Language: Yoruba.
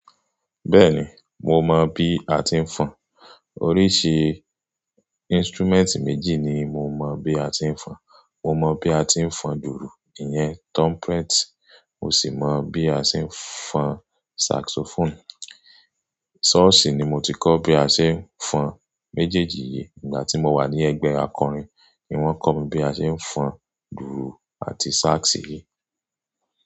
Bẹ́ẹ̀ni, mo mọ̀ bí a ti ń fọn, oríṣi instrument méjì ni mo mọ̀ bí a ti ń fọn. Mo mọ bí a ti ń fọn dùùrù, ìyẹn trumpet, mo sì mọ bí a ṣe ń fọn saxophone. Church ni mo ti kọ́ bí a ṣe ń fọn méjèèjì yìí. Ìgbà tí mo wà ní ẹgbẹ́ akọrin ni wọ́n kọ́ mi bí a ṣe ń fọn dùùrù àti sax yìí.